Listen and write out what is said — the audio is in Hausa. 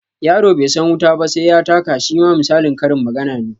Yaro bai san wuta ba sai ya taka shima misalin karin magana ne